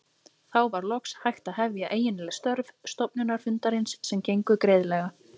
Þá var loks hægt að hefja eiginleg störf stofnfundarins sem gengu greiðlega.